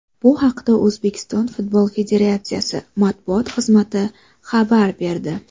Bu haqda O‘zbekiston futbol federatsiyasi matbuot xizmati xabar berdi .